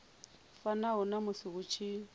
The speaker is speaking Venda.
fanaho na musi hu tshi